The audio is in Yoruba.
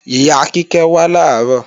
Ìyá Kíkẹ́ wá làárọ̀